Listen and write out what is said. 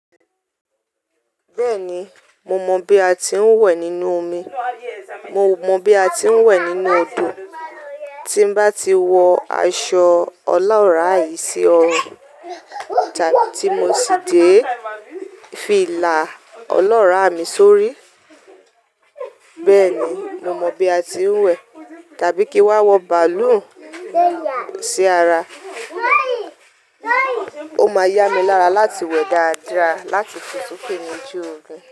Bẹ́ẹ̀ni, mo mọ bí a ti ń wẹ̀ nínú omi, mo mọ bí a ti ń wẹ̀ nínú odò. Tí mbá ti wọ aṣọ ọlọ́ràa yii sí ọrun, tàbí tí mo sì dé filà ọlọ́ràà mi sórí, bẹ́ẹ̀ni mo mọ bí a ti ń wẹ̀. Tàbí kí n wa wọ bàálù sí ara, ó máa yá mi lára láti wẹ̀ dáadáa láti tun fosoke lojú omi.